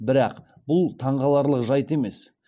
бірақ бұл таңғаларлық жайт емес